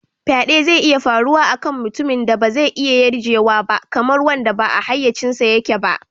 Faɗe zai iya faruwa a kan mutumin da ba zai iya yarjewa ba, kamar wanda ba a hayyacinsa yake ba.